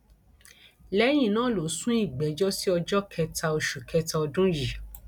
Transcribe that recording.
lẹyìn náà ló sún ìgbẹjọ sí ọjọ kẹta oṣù kẹta ọdún yìí